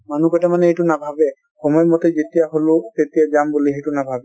মানুহ কেইটামানে এইটো নভাবে সময় মতে যেতিয়া হ'লো তেতিয়া যাম বুলি সেইটো নাভাবে |